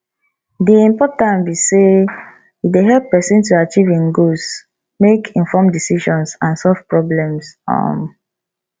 di importance be say e dey help pesin to achieve im goals make informed decisions and solve problems um